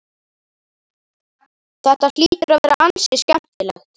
Þetta hlýtur að vera ansi skemmtilegt?